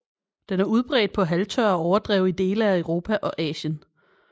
Den er udbredt på halvtørre overdrev i dele af Europa og Asien